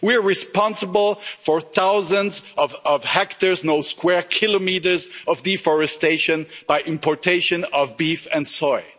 We are responsible for thousands of hectares, square kilometres, of deforestation by importation of beef and soya.